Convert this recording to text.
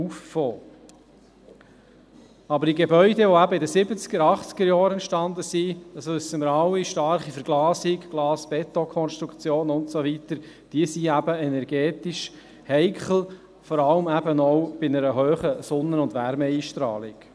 Gebäude aber, die in den Siebziger- oder Achtzigerjahren entstanden sind – das wissen wir alle: starke Verglasung, Glas-BetonKonstruktionen und so weiter –, sind energetisch heikel, vor allem auch bei einer hohen Sonnen- und Wärmeeinstrahlung.